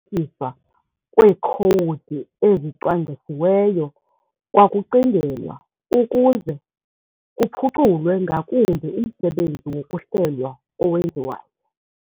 kweekhowudi ezicwangcisiweyo kwakucingelwa, ukuze kuphuculwe ngakumbi umsebenzi wokuhlelwa owenziwayo.